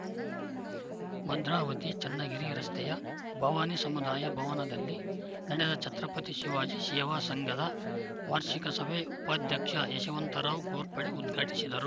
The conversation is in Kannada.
ಭದ್ರಾವತಿ ಚನ್ನಗಿರಿ ರಸ್ತೆಯ ಭವಾನಿ ಸಮುದಾಯ ಭವನದಲ್ಲಿ ನಡೆದ ಛತ್ರಪತಿ ಶಿವಾಜಿ ಸೇವಾ ಸಂಘದ ವಾರ್ಷಿಕ ಸಭೆ ಉಪಾಧ್ಯಕ್ಷ ಯಶವಂತರಾವ್‌ ಘೋರ್ಪಡೆ ಉದ್ಘಾಟಿಸಿದರು